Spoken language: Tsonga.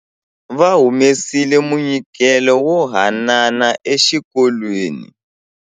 Va humesile munyikelo wo hanana exikolweni.